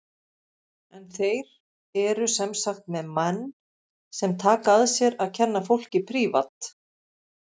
En þeir eru sem sagt með menn sem taka að sér að kenna fólki prívat.